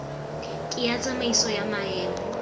ke ya tsamaisano ya maemo